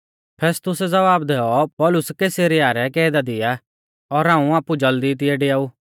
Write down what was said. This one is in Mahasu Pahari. फेस्तुसै ज़वाब दैऔ पौलुस कैसरिया रै कैदा दी आ और हाऊं आपु ज़ल्दी तिऐ डेआऊ